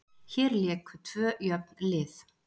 Hér léku tvö jöfn lið.